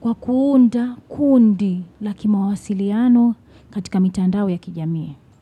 Kwa kuunda, kuundi laki mawasiliano katika mitandao ya kijamii.